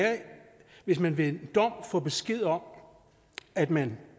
hvis man ved dom får besked om at man